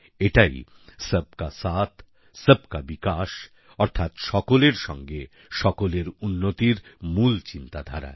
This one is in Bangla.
এটাই সবকা সাথ সবকা বিকাশ অর্থাৎ সকলের সাথে সকলের উন্নতির মূল চিন্তাধারা